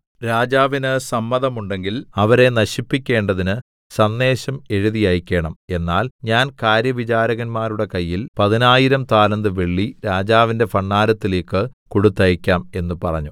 രാജാവിന് സമ്മതമുണ്ടെങ്കിൽ അവരെ നശിപ്പിക്കേണ്ടതിന് സന്ദേശം എഴുതി അയക്കേണം എന്നാൽ ഞാൻ കാര്യവിചാരകന്മാരുടെ കയ്യിൽ പതിനായിരം 10000 താലന്ത് വെള്ളി രാജാവിന്റെ ഭണ്ഡാരത്തിലേക്ക് കൊടുത്തയയ്ക്കാം എന്ന് പറഞ്ഞു